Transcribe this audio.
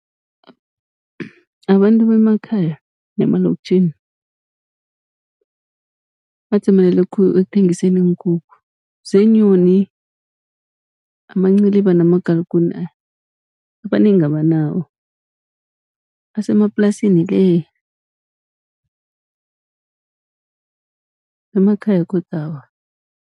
Abantu bemakhaya nemalokitjhini badzimelele khulu ekuthengiseni iinkukhu, zeenyoni amanciliba namagalikune abanengi abanawo asemaplasini le. Emakhaya godu awa.